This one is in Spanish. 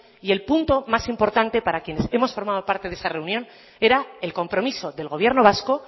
y el punto más importante para quienes hemos formado parte de esa reunión era el compromiso del gobierno vasco